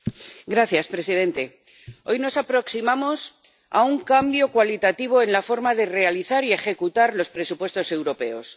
Señor presidente, hoy nos aproximamos a un cambio cualitativo en la forma de realizar y ejecutar los presupuestos europeos.